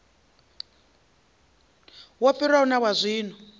wo fhiraho na wa zwino